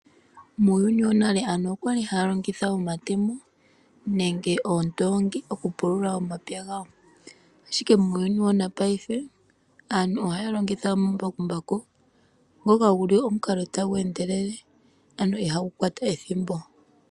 Muuyuni wonale aantu okwa li haya longitha omatemo nenge oondoongi oku pulula omapya gawo, ashike muuyuni wanapaife aantu oha ya longitha omambakumbaku, ngoka gu li omukalo tagu endelele, ano iha gu kwata ethimbo.